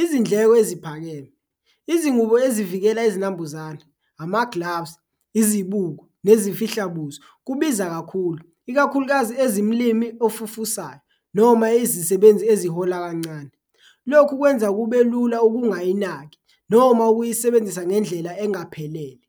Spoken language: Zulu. Izindleko eziphakeme, izingubo ezivikela izinambuzane, ama-gloves, izibuko, nezifihla buso kubiza kakhulu, ikakhulukazi ezimlimi ofufusayo noma izisebenzi ezihola kancane, lokhu kwenza kube lula okungayinaki noma ukuyisebenzisa ngendlela engaphelele.